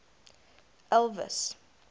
elvis